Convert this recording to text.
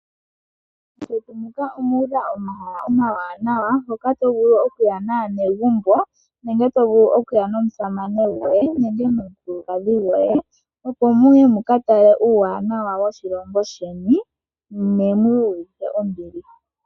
Mevi muka omu udha omahala omawanawa hoka to vulu oku ya naanegumbo nenge to vulu oku ya nommusamane goye nenge nomukulukadhi goye opo muye mukatale uuwanawa woshilongo sheni ne mu iyuvithe ombili.